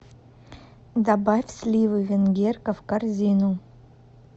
добавь сливы венгерка в корзину